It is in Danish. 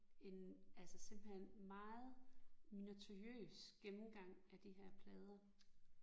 En altså simpelthen meget minutiøs gennemgang af de her plader